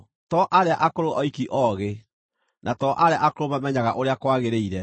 To arĩa akũrũ oiki oogĩ, na to arĩa akũrũ mamenyaga ũrĩa kwagĩrĩire.